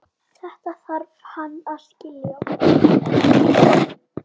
Þetta þarf hann að skilja.